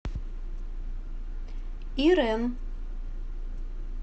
ирэн